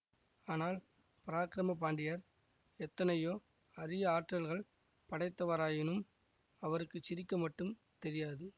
ஆனால் பராக்கிரம பாண்டியர் எத்தனையோ அரிய ஆற்றல்கள் படைத்தவராயினும் அவருக்கு சிரிக்க மட்டும் தெரியாது